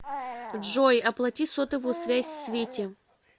джой оплати сотовую связь свете